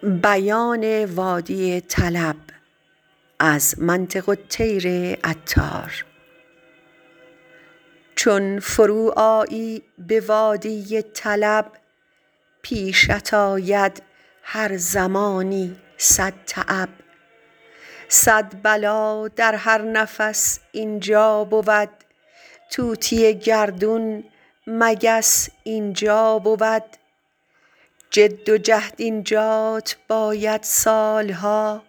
چون فرو آیی به وادی طلب پیشت آید هر زمانی صدتعب صد بلا در هر نفس اینجا بود طوطی گردون مگس اینجا بود جد و جهد اینجات باید سال ها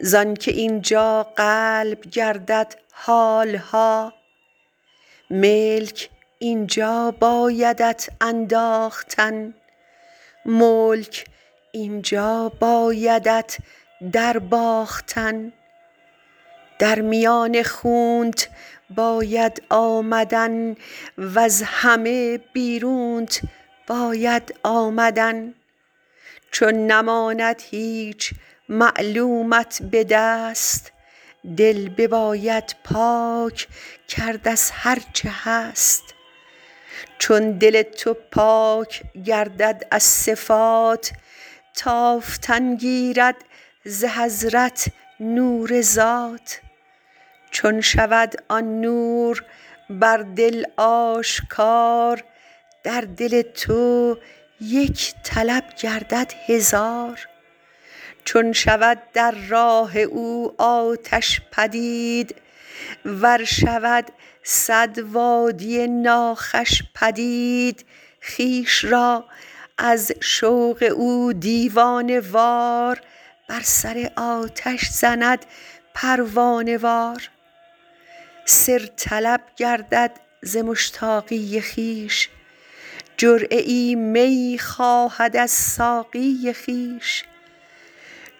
زآن که اینجا قلب گردد حال ها ملک اینجا بایدت انداختن ملک اینجا بایدت در باختن در میان خونت باید آمدن وز همه بیرونت باید آمدن چون نماند هیچ معلومت به دست دل بباید پاک کرد از هرچه هست چون دل تو پاک گردد از صفات تافتن گیرد ز حضرت نور ذات چون شود آن نور بر دل آشکار در دل تو یک طلب گردد هزار چون شود در راه او آتش پدید ور شود صد وادی ناخوش پدید خویش را از شوق او دیوانه وار بر سر آتش زند پروانه وار سر طلب گردد ز مشتاقی خویش جرعه ای می خواهد از ساقی خویش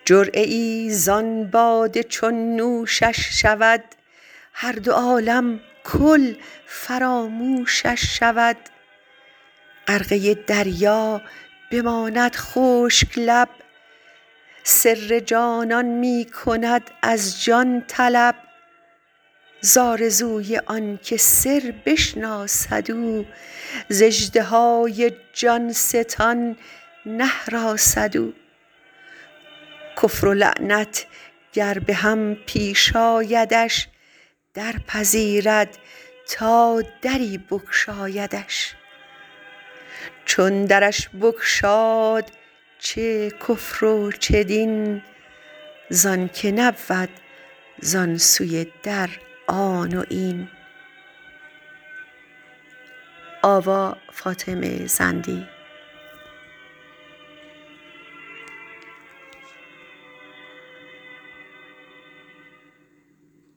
جرعه ای ز آن باده چون نوشش شود هر دو عالم کل فراموشش شود غرقه دریا بماند خشک لب سر جانان می کند از جان طلب ز آرزوی آن که سربشناسد او ز اژدهای جان ستان نهراسد او کفر و ایمان گر به هم پیش آیدش درپذیرد تا دری بگشایدش چون درش بگشاد چه کفر و چه دین زانک نبود زان سوی در آن و این